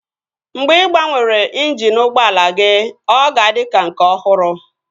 Mgbe ị gbanwere injini ụgbọala gị, ọ ga-adị ka nke ọhụrụ